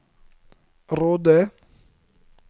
Råde